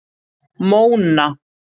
Móna